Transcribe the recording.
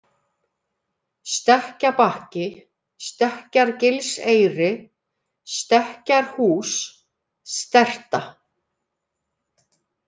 Stekkjabakki, Stekkjargilseyri, Stekkjarhús, Sterta